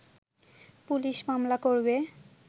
police মামলা করবে